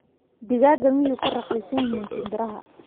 digaaga miyuu ka raqiisan yihiin shinbiraha